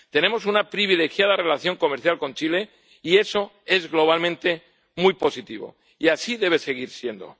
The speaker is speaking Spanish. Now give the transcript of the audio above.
Tenemos una privilegiada relación comercial con Chile y eso es globalmente muy positivo, y así debe seguir siendo.